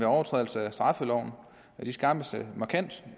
overtrædelse af straffeloven skærpes markant